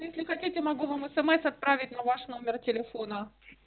если хотите могу вам смс отправить на ваш номер телефона